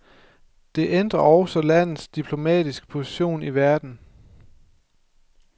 Det ændrer også landets diplomatiske position i verden.